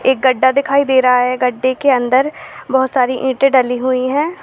एक गड्ढा दिखाई दे रहा है गड्ढे के अंदर बहोत सारी ईंटें डली हुई है।